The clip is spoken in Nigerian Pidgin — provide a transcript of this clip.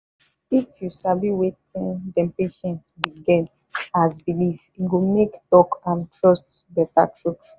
if you sabi wetin dem patient bin get as belifef e go make talk and trust better true true.